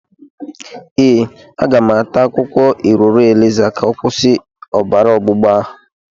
Ee, aga m ata akwukwo iroro eliza ka ọ kwusi obara ọgbụgba ahụ.